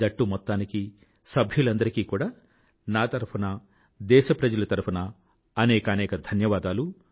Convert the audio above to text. జట్టు మొత్తానికీ సహాకార సభ్యులందరికీ కూడా నా తరఫున దేశప్రజల తరఫునా అనేకానేక ధన్యవాదాలు